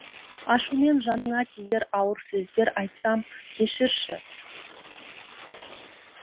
ашумен жаныңа тиер ауыр сөздер айтсам кешірші